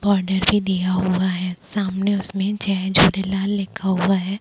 Border भी दिया हुआ है सामने उसमे जय झूलेलाल लिखा हुआ है।